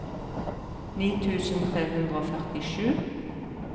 ni tusen tre hundre og førtisju